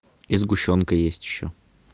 и сгущёнка есть ещё